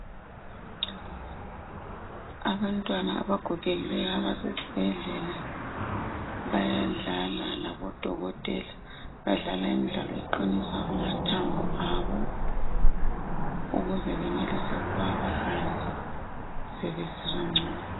Abantwana abagogekileyo abasezibhedlela bayadlala labodokotela , badlala imidlalo eqinisa amathambo abo ukuze benelise ukuba bahambe sebesizwa ngcono.